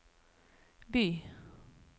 by